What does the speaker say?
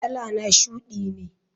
Kalana shudi ne.